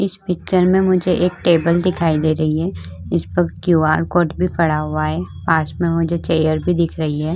इस पिक्चर में मुझे एक टेबल दिखाई दे रही है। इस पर क्यूआर कोड भी पड़ा हुआ है। पास मे मुझे चेयर भी दिख रही है।